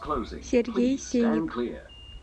сергей сеник